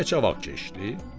Neçə vaxt keçdi.